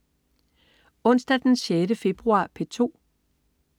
Onsdag den 6. februar - P2: